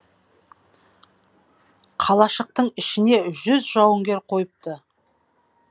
қалашықтың ішіне жүз жауыңгер қойыпты